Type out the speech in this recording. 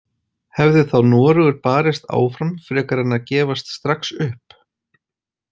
Hefði þá Noregur barist áfram frekar en að gefast strax upp?